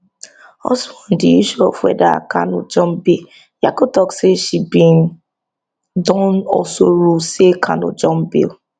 also on di issue of whether kanu jump bail nyako tok say she bin don also rule say kanu jump bail